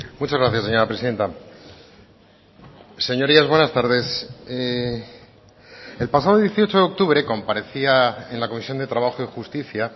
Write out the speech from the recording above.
muchas gracias señora presidenta señorías buenas tardes el pasado dieciocho de octubre comparecía en la comisión de trabajo y justicia